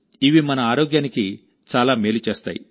ఇవి మన ఆరోగ్యానికి చాలా మేలు చేస్తాయి